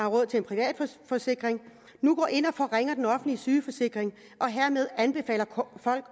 råd til en privat forsikring nu går ind og forringer den offentlige sygesikring og hermed anbefaler folk